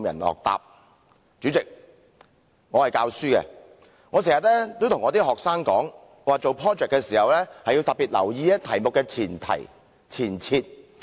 代理主席，我是教書的，我經常對學生說，做 project 時要特別留意題目的前提、前設。